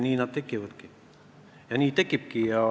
Nii need tekivadki.